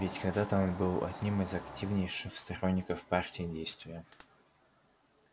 ведь когда-то он был одним из активнейших сторонников партии действия